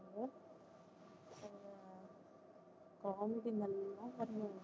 college நல்லா fun பண்ணுவோம்